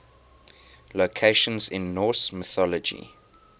locations in norse mythology